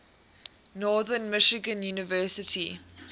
northern michigan university